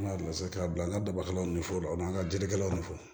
An ka bilasira ka bila an ka dabaw ni foro ma an ka jelikɛlaw ni fɔ